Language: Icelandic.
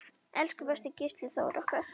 Elsku besti Gísli Þór okkar.